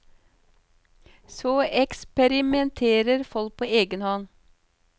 Så eksperimenterer folk på egen hånd.